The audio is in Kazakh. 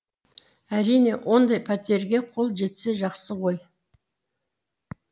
әрине ондай пәтерге қол жетсе жақсы ғой